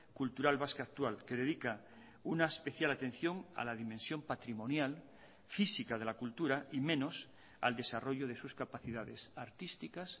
cultural vasca actual que dedica una especial atención a la dimensión patrimonial física de la cultura y menos al desarrollo de sus capacidades artísticas